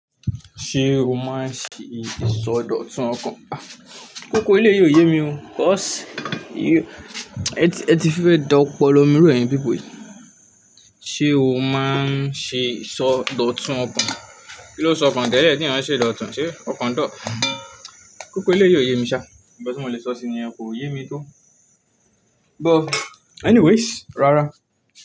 Ṣé o máa ń ṣe ìsọdọ̀tun ọkàn? Kókó eléyìí ò yé mi o, but ẹ ti fẹ́ dọpọlọ mirọ̀ ẹni pípò yìí. Ṣé o máa ń ṣe ìsọdọ̀tun ọkàn? Kí ló sọ ọkàn tẹ́lẹ̀ ẹ́ tí ìran ṣe ìdọ̀tún, ṣe ọkàn dọ̀? Kókó eléyìí ò yé mi ṣá, nkan tí mo le sọ síi nìyen ko ò yé mi tó. But anyways, rárá.